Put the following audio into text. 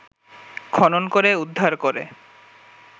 খনন করে উদ্ধার করে